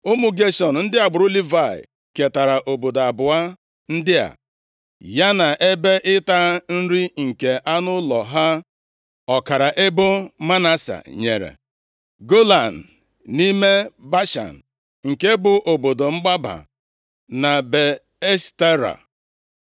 Ụmụ Geshọn, ndị agbụrụ Livayị, ketara obodo abụọ ndị a, ya na ebe ịta nri nke anụ ụlọ ha. Ọkara ebo Manase nyere: Golan, nʼime Bashan, nke bụ obodo mgbaba, na Be Eshtera.